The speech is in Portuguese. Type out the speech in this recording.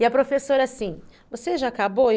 E a professora assim, você já acabou?